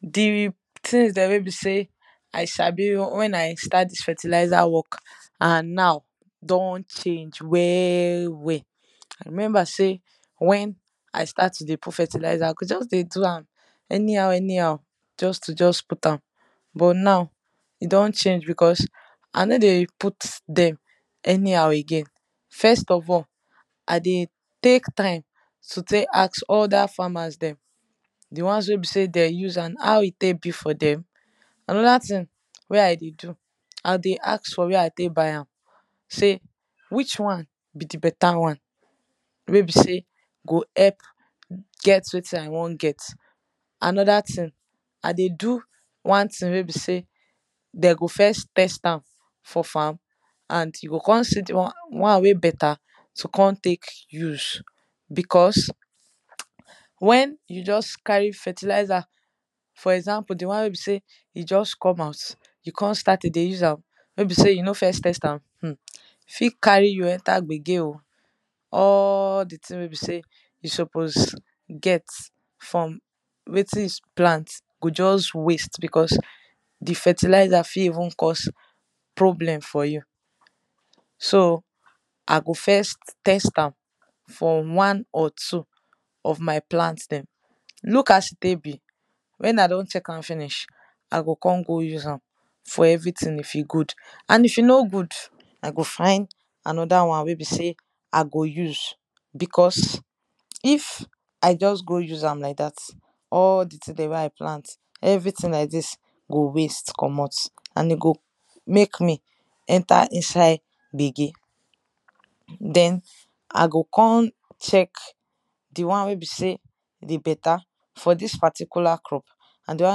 di things dem wey be sey i sabi wen i start dis fertilizer work and now don change well well. i remember sey wen i start to dey put fertilizer i go just dey do am any how anyhow just to just put am. but now e don change because i no dey put dem, anyhow again, first of all i dey tek time to tek ask other farmers dem di ones wey be sey den use and how e tek be for dem. anoda thing wey i dey do, i dey ask for where e tek buy am sey which one be di beta won wey be sey go help get wetin i won get anoda thing i dey do wan thing wey be sey de go first test am for farm and you go kon see di won wey beta to kon tek use beause wen you just carry fertilizer, for example di won wey be sey e just come out no be sey di won wey you don use you begin spread am, e fit carry you enter gbege o. all di thing wey be sey we suppose get from wetin you plant go just wast be cause di fertilizer fir even cause problem for you so i go first test am from one or two of my plant dem look as e tek be wen i don check am finish, i go kon go use am. for everything if e goood and if e no good, i go find anoda wan wey be sey i go use because if i just go use am like dat, all di thing dem wen i plant everything like dis go waste comot and e go mek me enter inside gbege. den i go kon check di wan wey be sey dey beta for dis particular crop and di wan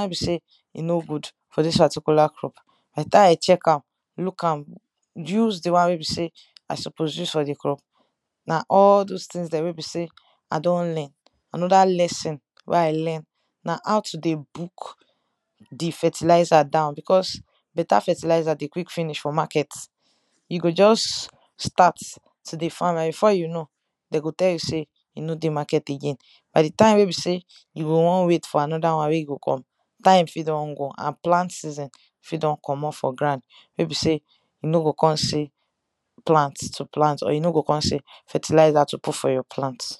wey be sey e no good for dis particular crop. by di time i check am look am used di wan wey be sey i suppose use for di crop, na all those things dem wey be sey i don learn. anoda lesson dem wey i learn na how to dey book di fertilizer down because beta fertilizer dey finish for market to di farmer and you go before you know den go tell you sey e no dey market again time fit don go and plant season fit don commot for grand and you no go come see, plant to plant or e no go come sey fertilizer to put for your plant.